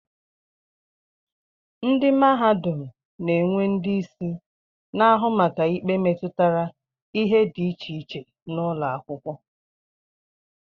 Ndị mahadum na-enwe ndị isi na-ahụ maka ikpe metụtara ihe dị iche iche n'ụlọakwụkwọ